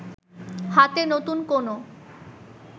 হাতে নতুন কোন